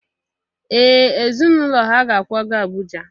Ee ezinaụlọ ha ga-akwaga Abuja?